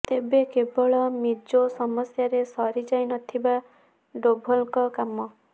ତେବେ କେବଳ ମିଜୋ ସମସ୍ୟାରେ ସରି ଯାଇନଥିବା ଡୋଭଲଙ୍କ କାମ